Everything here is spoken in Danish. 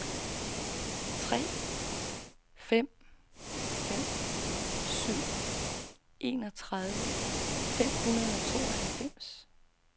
tre fem fem syv enogtredive fem hundrede og tooghalvfems